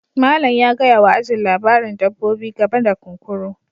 Malam ya gaya wa ajin labarin dabbobi game da kunkuru